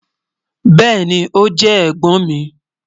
Bẹẹni, o jẹ ẹ̀gbọ́n mi.